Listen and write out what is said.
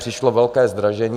Přišlo velké zdražení.